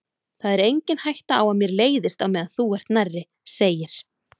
Það er engin hætta á að mér leiðist á meðan þú ert nærri, segir